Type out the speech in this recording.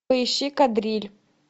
поищи кадриль